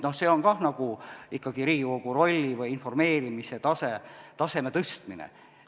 See on ka ikkagi Riigikogu rolli või informeerimise taseme tõstmine.